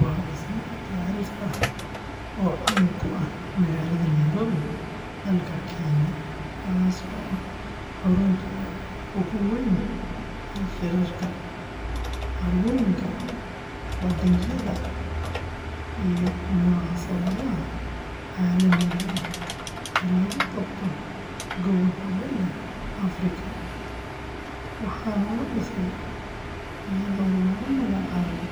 Waa dhisme taariikhi ah oo caan ku ah magaalada Nairobi, dalka Kenya, kaasoo ah xarunta ugu weyn ee shirarka, carwooyinka, bandhigyada iyo munaasabadaha caalamiga ah ee lagu qabto gobolka Bariga Afrika, waxaana la dhisay iyadoo lagu magacaabay